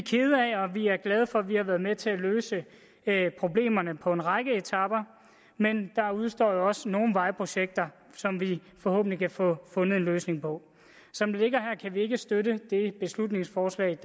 er glade for at vi har været med til at løse problemerne på en række etaper men der udestår jo også nogle vejprojekter som vi forhåbentlig kan få fundet en løsning på som det ligger her kan vi ikke støtte det beslutningsforslag